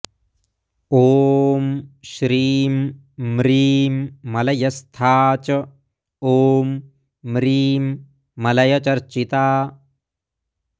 ॐ श्रीं म्रीं मलयस्था च ॐ म्रीं मलयचर्चिता